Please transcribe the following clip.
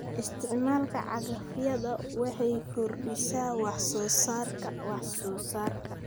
Isticmaalka cagafyada waxay kordhisaa wax soo saarka wax soo saarka.